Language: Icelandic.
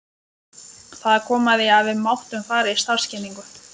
Það kom að því að við máttum fara í starfskynningu.